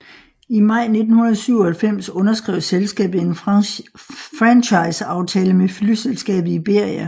I maj 1997 underskrev selskabet en franchise aftale med flyselskabet Iberia